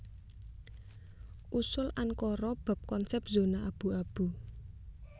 Usul Ankara bab konsèp zona abu abu